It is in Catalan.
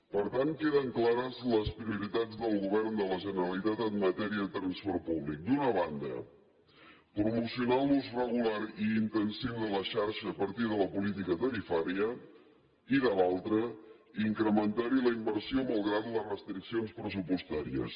per tant queden clares les prioritats del govern de la generalitat en matèria de transport públic d’una banda promocionar l’ús regular i intensiu de la xarxa a partir de la política tarifària i de l’altra incrementar hi la inversió malgrat les restriccions pressupostàries